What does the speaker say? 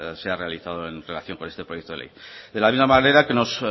se ha realizado en relación con este proyecto de ley de la misma manera que nos